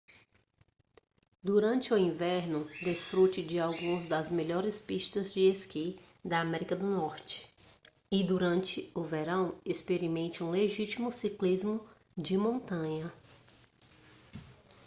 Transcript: durante o inverno desfrute de algumas das melhores pistas de esqui da américa do norte e durante o verão experimente um legítimo ciclismo de montanha